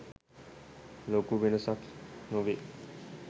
ලොකු වෙනසක් නොවේ.